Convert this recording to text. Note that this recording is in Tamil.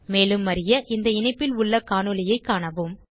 மேலும் அறிய இந்த இணைப்பில் உள்ள காணொளியைக் காணவும்